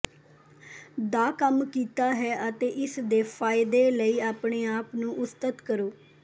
ਦਾ ਕੰਮ ਕੀਤਾ ਹੈ ਅਤੇ ਇਸ ਦੇ ਫਾਇਦੇ ਲਈ ਆਪਣੇ ਆਪ ਨੂੰ ਉਸਤਤਿ ਕਰੋ